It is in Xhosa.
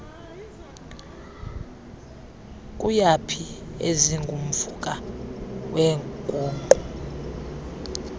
kuyaphi ezingumvuka weenguqu